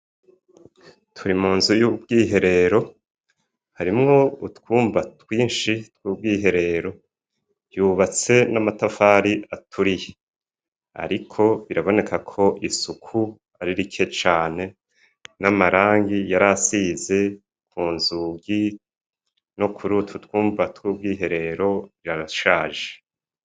Turi munzu y'ubwiherero, harimwo utwumba twinshi tw'ubwiherero, yibatse n'amatafari aturiye, ariko birabonekako isuku ari rikeya cane n'amarangi yarasize kunzugi nokurutwotwumba tw'ubwiherero yashaje.